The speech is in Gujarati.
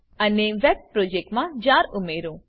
અને વેબ પ્રોજેક્ટ મા જાર ઉમેરો